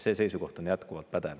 See seisukoht on jätkuvalt pädev.